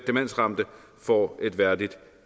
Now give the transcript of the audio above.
demensramte får et værdigt